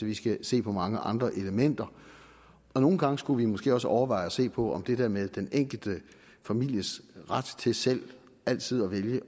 vi skal se på mange andre elementer og nogle gange skulle vi måske også overveje at se på om det der med den enkelte families ret til selv altid at vælge